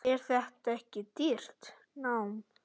Er þetta ekki dýrt nám?